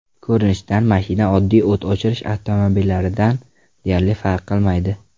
Ko‘rinishdan mashina oddiy o‘t o‘chirish avtomobillaridan deyarli farq qilmaydi.